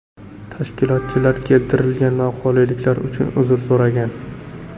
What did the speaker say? Tashkilotchilar keltirilgan noqulayliklar uchun uzr so‘ragan.